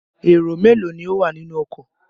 Èrò mélòó ni ó wà nínú ọkọ?